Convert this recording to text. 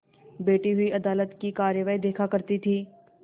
बैठी हुई अदालत की कारवाई देखा करती थी